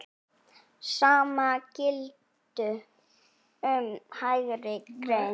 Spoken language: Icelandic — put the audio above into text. Sama gilti um Hægri græna.